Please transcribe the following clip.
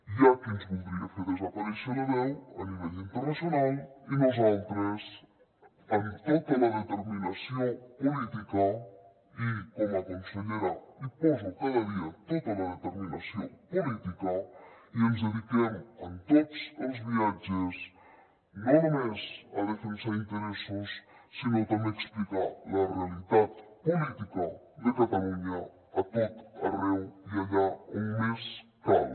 hi ha qui ens voldria fer desaparèixer la veu a nivell internacional i nosaltres amb tota la determinació política i com a consellera hi poso cada dia tota la determinació política i ens dediquem en tots els viatges no només a defensar interessos sinó també a explicar la realitat política de catalunya a tot arreu i allà on més cal